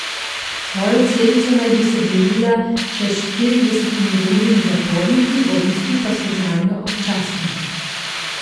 Svojo celico naj bi si delila s še štiridesetimi drugimi zaporniki, obiski pa so zanjo občasni.